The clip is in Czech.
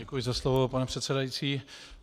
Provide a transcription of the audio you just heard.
Děkuji za slovo, pane předsedající.